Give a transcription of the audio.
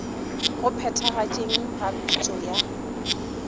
go phethagatšeng ga pitšo ya